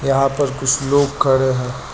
यहां पर कुछ लोग खड़े हैं।